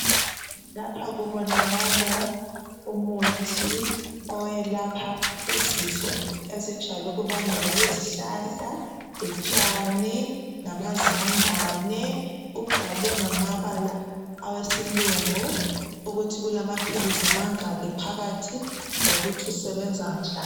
Lapha kubonakala umuthi owelapha izifo ezijayele ukubangelwa yizihlahla lotshani lamazambane, ubhalwe ngamabala awesilungu ukuthi kulamaphilisi amangaki phakathi lokuthi usebenza njani.